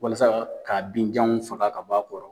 Walasa k'a binjanw faga ka b'a kɔrɔ.